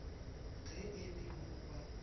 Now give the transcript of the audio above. ge e le mo ba